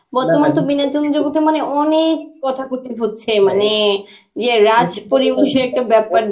বর্তমান তো বিনোদন জগতে মানে ওনেক কথা কথি হচ্ছে মানে, ইয়ে রাজ একটা ব্যাপার